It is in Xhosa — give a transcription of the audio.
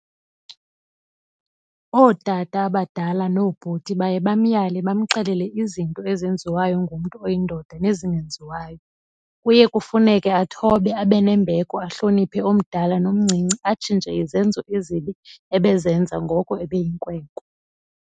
Ootata abadala noobhuti baye bamyale bamxelele izinto ezenziwayo ngumntu oyindoda nezingenziwayo. Kuye kufuneke athobe, abe nembeko ahloniphe omdala nomncinci atshintshe izenzo ezibi ebezenza ngoko ebeyinkwenkwe.